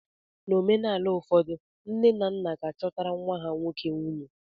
N'omenaala ụfọdụ, nne na nna ga-achọtara nwa ha nwoke nwunye.